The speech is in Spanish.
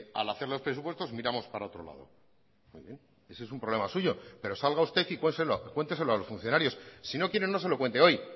al hacer los presupuesto miramos para otro lado bueno ese es un problema suyo pero salga usted y cuénteselo a los funcionarios si no quiere no se lo cuente hoy